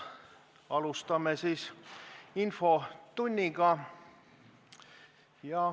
Alustame infotundi.